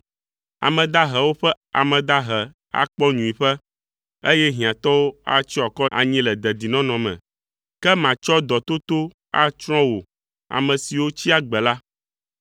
Ame dahewo ƒe ame dahe akpɔ nyuiƒe, eye hiãtɔwo atsyɔ akɔ anyi le dedinɔnɔ me. Ke matsɔ dɔtoto atsrɔ̃ wò ame siwo tsi agbe la.